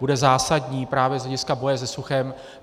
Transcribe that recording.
Bude zásadní právě z hlediska boje se suchem.